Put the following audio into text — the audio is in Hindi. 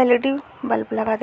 एल.इ.डी बल्ब लगा दि --